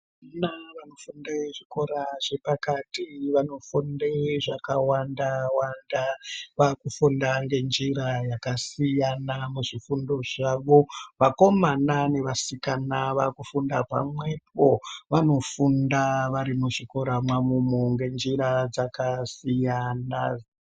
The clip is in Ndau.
Vana vechikora chepakati vanofunde zvakawanda wanda. Vakufunda nenjira yakasiyana muzvifundo zvavo. Vakomana nevasikana vakufunda pamwepo, vanofunda vari muzvikora mwavomwo ngenjra dzakasiyana.